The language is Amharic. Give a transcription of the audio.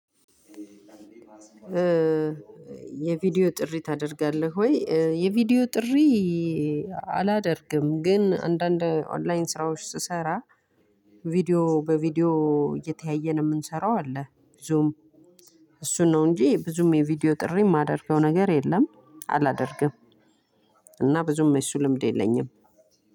የቪዲዮ ጥሪ ታደርጋለህ ወይ የቪዲዮ ጥሪ? አላደርግም ግን አንዳንድ ኦንላይን ስራዎች ስሰራ ቪዲዮ በቪዲዮ እየተያየን የምንሰራው አለ። ብዙም እሱን ነው እንጂ ብዙም የቪዲዮ ጥሪ የማደርገው ነገር የለም። አላደርግም። እና ብዙም የሱ ልምድ የለኝም።